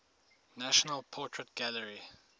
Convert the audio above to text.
national portrait gallery